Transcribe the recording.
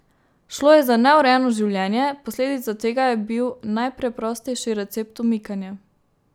Šlo je za neurejeno življenje, posledica tega je bil najpreprostejši recept umikanje.